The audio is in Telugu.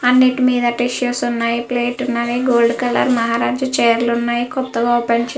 అన్నిటి మీదా టిష్యూస్ ఉన్నాయి. ప్లేట్లు ఉన్నాయి. గోల్డ్ కలర్ మహారాజా చైర్స్ ఉన్నాయి. కొత్తగా ఓపెన్ చేయ--